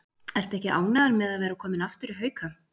Ertu ekki ánægður með að vera kominn aftur í Hauka?